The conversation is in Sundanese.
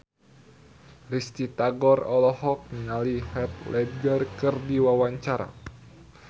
Risty Tagor olohok ningali Heath Ledger keur diwawancara